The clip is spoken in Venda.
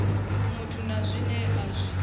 muthu na zwine a zwi